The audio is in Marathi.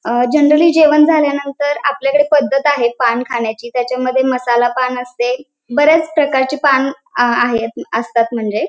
अ जनरली जेवण झाल्यानंतर आपल्याकडे पद्धत आहे पान खाण्याची त्याच्या मध्ये मसाला पान असते बऱ्याच प्रकारची पान आहेत असतात म्हणजे --